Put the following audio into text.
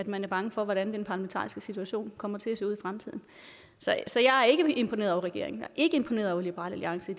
man er bange for hvordan den parlamentariske situation kommer til at se ud fremtiden så jeg er ikke imponeret over regeringen er ikke imponeret over liberal alliance i